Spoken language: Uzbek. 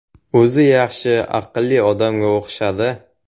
O‘zi yaxshi, aqlli odamga o‘xshadi.